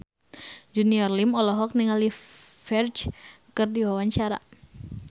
Junior Liem olohok ningali Ferdge keur diwawancara